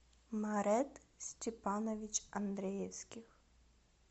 марет степанович андреевских